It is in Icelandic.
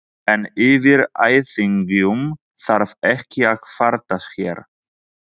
En yfir ættingjum þarf ekki að kvarta hér.